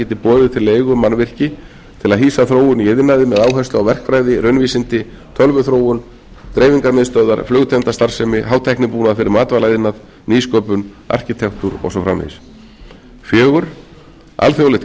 geti boðið til leigu mannvirki til að hýsa þróun í iðnaði með áherslu á verkfræði raunvísindi tölvuþróun dreifingarmiðstöðvar flugtengda starfsemi hátæknibúnað fyrir matvælaiðnað nýsköpun arkitektúr og svo framvegis fjórða alþjóðlegt